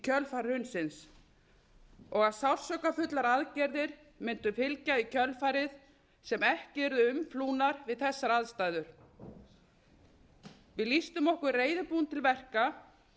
kjölfar hrunsins og að sársaukafullar aðgerðir mundu fylgja í kjölfarið sem ekki yrðu umflúnar við þessar aðstæður við lýstum okkur reiðubúin til verka